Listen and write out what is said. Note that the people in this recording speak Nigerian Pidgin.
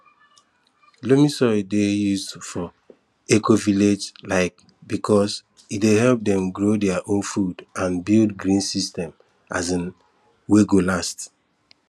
loamy soil dey used for ecovillage um because e dey help dem grow their own food and build green system um wey go last